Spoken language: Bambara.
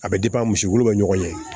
A bɛ misi wolo bɛ ɲɔgɔn ye